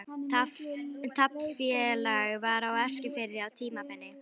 Taflfélag var á Eskifirði á tímabili.